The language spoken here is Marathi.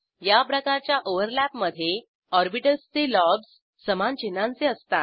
याप्रकारच्या ओव्हरलॅपमधे ऑर्बिटल्स चे लोब्ज समान चिन्हांचे असतात